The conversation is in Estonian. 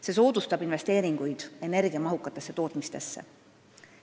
See soodustab investeeringuid energiamahukatesse tootmistesse.